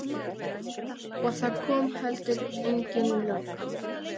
Og það kom heldur engin lögga.